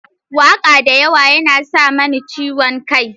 Waƙa da yawa yana sa mani ciwon kai.